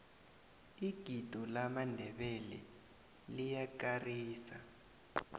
igido lamandebele liyakarisa